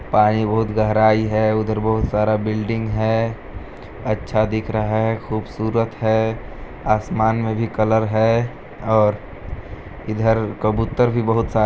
पानी बहुत गहराई है उधर बहुत सारा बिल्डिंग है अच्छा दिख रहा है खूबसूरत है आसमान में भी कलर है और इधर कबूतर भी बहुत सारे--